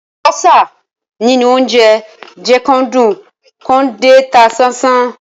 Àlùbọ́sà nínú óńjẹ jẹ́ kán dùn kán dẹ̀ ta sánsán.